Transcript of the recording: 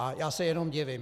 A já se jenom divím.